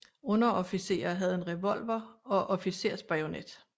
Underofficerer havde en revolver og officersbajonet